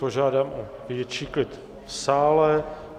Požádám o větší klid v sále.